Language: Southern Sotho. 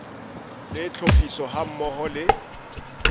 le tlhophiso ha mmoho le